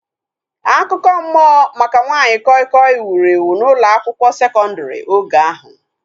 Akụkọ mmụọ maka nwanyị koi koi wuru ewu n'ụlọ akwụkwọ sekondri oge ahu